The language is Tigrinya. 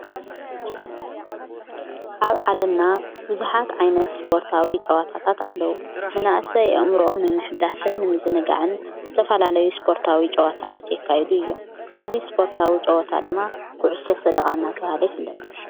ኣብ ዓለምና ውዙኃት ዓይነት ስጶርታዊ ጨዋታታት ኣለዉ መናእሰ የእምሮኦም ንምሕዳስን ምዝነጋዕን ዝተፋላለዩ ስጶርታዊ ጨዋታታት የካይዱ እዮም እዙይ ስጶርታዊ ጸወታ ድማ ብዑሶ ሰደቓናተብሃለ ኣይፈለጥ።